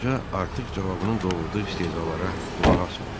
Qoca artıq cavabının doğurduğu istehzalara qulaq asmır.